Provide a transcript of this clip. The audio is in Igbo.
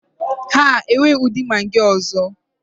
Ha enweghị ụdị Magị ọzọ.